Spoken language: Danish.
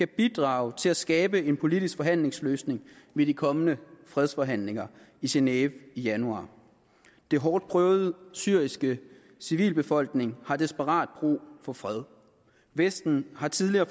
bidrage til at skabe en politisk forhandlingsløsning ved de kommende fredsforhandlinger i genève i januar den hårdt prøvede syriske civilbefolkning har desperat brug for fred vesten har tidligere